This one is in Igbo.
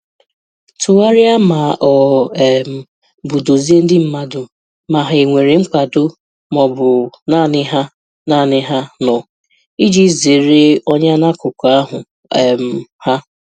Tụgharịa ma ọ um bụ dozie ndị mmadụ, ma ha e nwere nkwado ma ọ bụ naanị ha naanị ha nọ, iji zeere ọnya n'akụkụ ahụ um ha.